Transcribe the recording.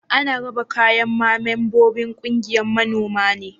Ana raba kayan ma membobin ƙungiyan manomi ne?